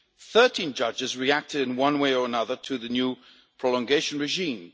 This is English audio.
13 judges reacted in one way or another to the new prolongation regime.